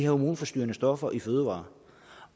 hormonforstyrrende stoffer i fødevarer